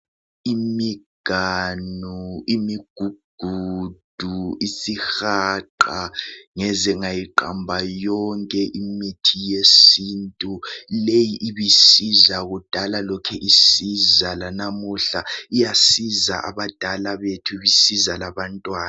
Imganu, imigugudu, isihaqa, ngeze ngayiqamba yonke imithi yesintu. Leyi ibisiza kudala lokhe isiza lanamuhla. Iyasiza abadala bethu isiza labantwana.